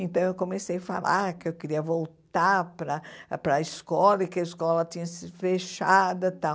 Então eu comecei a falar que eu queria voltar para para a escola e que a escola tinha sido fechada tal.